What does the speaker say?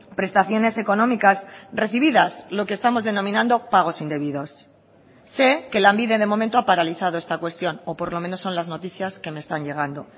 prestaciones económicas recibidas lo que estamos denominando pagos indebidos sé que lanbide de momento ha paralizado esta cuestión o por lo menos son las noticias que me están llegando